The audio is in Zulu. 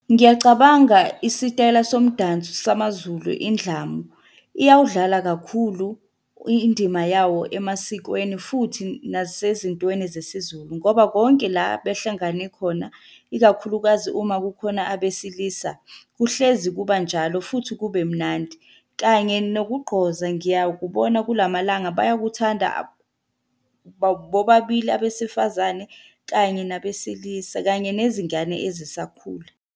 Ngiyacabanga isitayela somdanso samaZulu, indlamu. Iyawudlala kakhulu indima yawo emasikweni futhi nasezintweni zesiZulu ngoba konke la behlangane khona ikakhulukazi uma kukhona abesilisa, kuhlezi kuba njalo futhi kube mnandi, kanye nokugqoza ngiyakubona kula malanga bayakuthanda bobabili abesifazane kanye nabesilisa kanye nezingane ezisakhula.